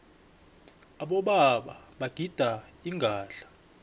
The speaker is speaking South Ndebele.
abobaba bagida ingadla